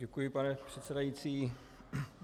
Děkuji, pane předsedající.